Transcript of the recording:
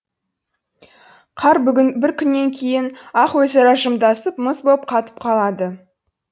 қар бүгін бір күннен кейін ақ өзара жымдасып мұз боп қатып қалады